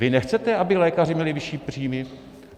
Vy nechcete, aby lékaři měli vyšší příjmy?